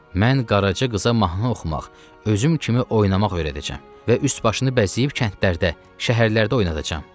Mən qaraçı qıza mahnı oxumaq, özüm kimi oynamaq öyrədəcəm və üst-başını bəzəyib kəndlərdə, şəhərlərdə oynadacam.